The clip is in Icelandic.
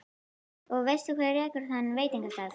Og veistu hver rekur þann veitingastað?